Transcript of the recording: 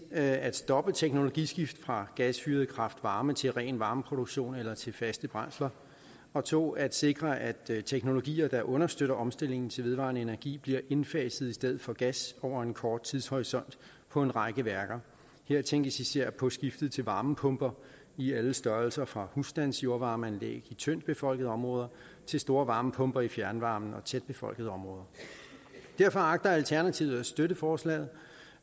at stoppe teknologiskift fra gasfyret kraft varme til ren varmeproduktion eller til faste brændsler og 2 at sikre at teknologier der understøtter omstillingen til vedvarende energi bliver indfaset i stedet for gas over en kort tidshorisont på en række værker her tænkes især på skiftet til varmepumper i alle størrelser fra husstandsjordvarmeanlæg i tyndtbefolkede områder til store varmepumper i fjernvarmen i tætbefolkede områder derfor agter alternativet at støtte forslaget